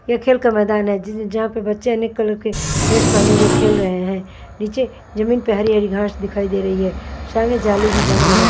यह खेल का मैदान है जहां पे बच्चे अनेक कलर के ड्रेस पहने हुए खेल रहे हैं नीचे जमीन पे हरी-हरी घांस दिखाई दे रही है सामने जाली भी बना हुआ है।